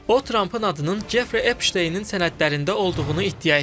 O Trampın adının Jefrey Epşteynin sənədlərində olduğunu iddia etdi.